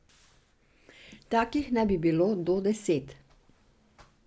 Takih naj bi bilo do deset.